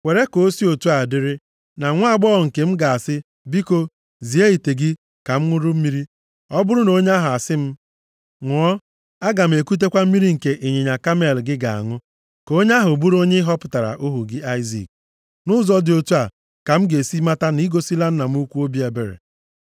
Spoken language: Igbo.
Kwere ka o si otu a dịrị na nwaagbọghọ nke m ga-asị, ‘Biko, zie ite gị ka m ṅụrụ mmiri.’ Ọ bụrụ na onye ahụ asị m, ‘Ṅụọ, aga m ekutekwa mmiri nke ịnyịnya kamel gị ga-aṅụ,’ ka onye ahụ bụrụ onye ị họpụtara ohu gị Aịzik. Nʼụzọ dị otu a ka m ga-esi mata na i gosila nna m ukwu obi ebere.”